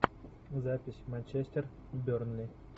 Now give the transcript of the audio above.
запись манчестер бернли